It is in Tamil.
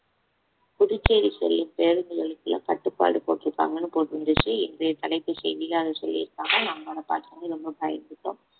புதுச்சேரி செல்லும் பேருந்து நிலையத்தில கட்டுப்பாடு போட்டிருக்காங்கன்னு போட்டிருந்துச்சு இன்றைய தலைப்பு செய்தியில அதை சொல்லியிருக்காங்க நம்மளோடது ரொம்ப பயந்துட்டோம்